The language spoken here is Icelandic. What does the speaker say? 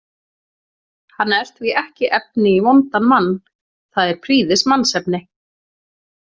Hann er því ekki efni í vondan mann, það er prýðismannsefni.